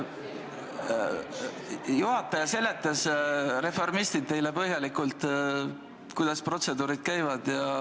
Juhataja seletas, reformistid, teile põhjalikult, kuidas protseduur käib.